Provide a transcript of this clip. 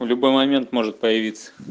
у любой момент может появиться